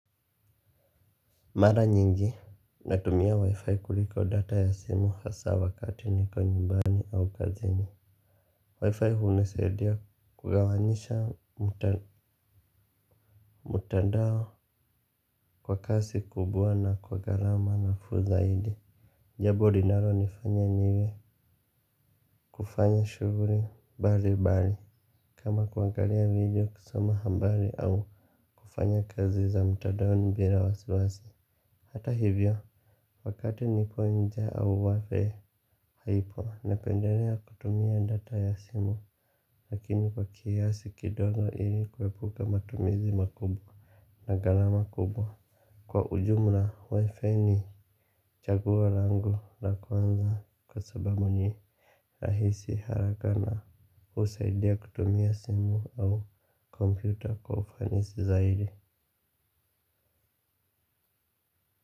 Mara nyingi natumia wi-fi kuliko data ya simu hasaa wakati niko nyumbani au kazini wi-fi hunisaidia kugawanyisha mtandao kwa kazi kubwa na kwa gharama nafuu zaidi, jambo linalonifanya niwe kufanya shughuli mbalimbali kama kuangalia video kusoma habari au kufanya kazi za mtandaoni bila wasiwasi hata hivyo wakati nipo nje au wapi. Haipo, napendelea kutumia data ya simu, lakini kwa kiasi kidogo ili kuepuka matumizi makubwa na gharama kubwa. Kwa ujumla, wi-fi ni chagua langu la kwanza kwa sababu ni rahisi haraka na husaidia kutumia simu au kompyuta kwa ufanisi zaidi.